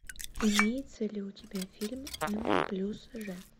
имеется ли у тебя фильм м плюс ж